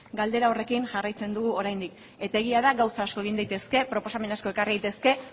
galdera horrekin jarraitzen dugu oraindik eta egia da gauza asko egin daitezke proposamen asko ekarri daitezke